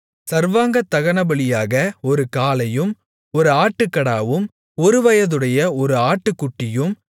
சர்வாங்கதகனபலியாக ஒரு காளையும் ஒரு ஆட்டுக்கடாவும் ஒருவயதுடைய ஒரு ஆட்டுக்குட்டியும்